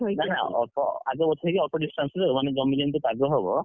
ନାଁ ନାଁ ଅଳ୍ପ ଆଗ ପଛ ହେଇକି ଅଳ୍ପ distance ରେ ମାନେ ଜମି ଯେମିତି ପାଗ ହବ!